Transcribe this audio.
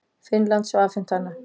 Finnlands og afhent hana.